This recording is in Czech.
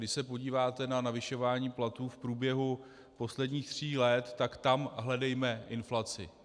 Když se podíváte na zvyšování platů v průběhu posledních tří let, tak tam hledejme inflaci.